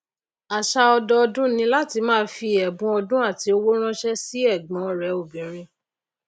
àsà ọdọdún ni láti máa fi èbun ọdún àti owó ránsé sí ègbón rè obìrin